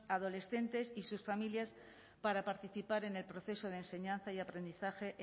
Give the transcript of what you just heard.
adolescentes y sus familias para participar en el proceso de enseñanza y aprendizaje